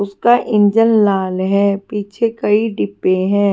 उसका इंजन लाल है पीछे कई डिब्बे हैं।